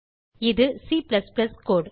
இது C கோடு